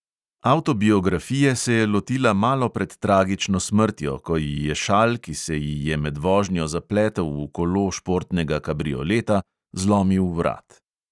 Avtobiografije se je lotila malo pred tragično smrtjo, ko ji je šal, ki se ji je med vožnjo zapletel v kolo športnega kabrioleta, zlomil vrat.